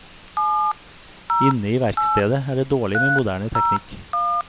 Inne i verkstedet er det dårlig med moderne teknikk.